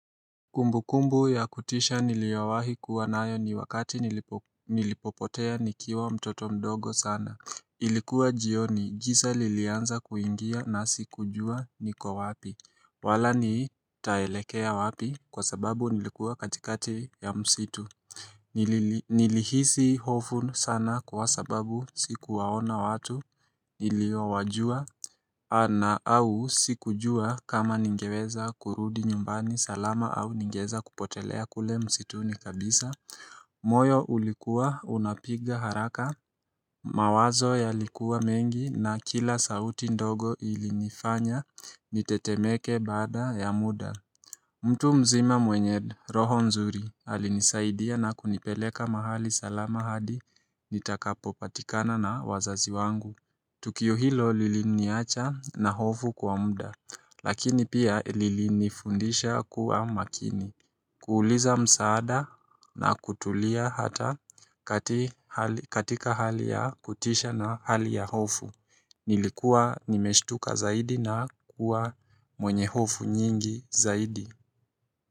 Kumbukumbu ya kutisha niliowahi kuwa nayo ni wakati nilipopotea nikiwa mtoto mdogo sana Ilikuwa jioni giza lilianza kuingia na sikujua niko wapi wala nitaelekea wapi kwa sababu nilikuwa katikati ya msitu Nilihisi hofu sana kwa sababu sikuwaona watu niliowajua na au sikujua kama ningeweza kurudi nyumbani salama au ningeweza kupotelea kule msituni kabisa moyo ulikuwa unapiga haraka mawazo yalikuwa mengi na kila sauti ndogo ilinifanya nitetemeke baada ya muda mtu mzima mwenye roho nzuri alinisaidia na kunipeleka mahali salama hadi nitakapo patikana na wazazi wangu Tukio hilo lili niacha na hofu kwa muda lakini pia lilinifundisha kuwa makini kuuliza msaada na kutulia hata katika hali ya kutisha na hali ya hofu Nilikuwa nimeshtuka zaidi na kuwa mwenye hofu nyingi zaidi.